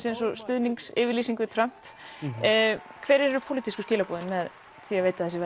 eins og stuðningsyfirlýsing við Trump hver eru pólitísku skilaboðin með því að veita þessi